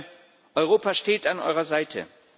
Ich sage Europa steht an eurer Seite.